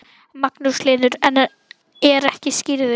Magnús Hlynur: En er ekki skírður?